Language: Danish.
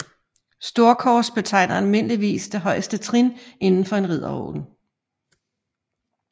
Storkors betegner almindeligvis det højeste trin inden for en ridderorden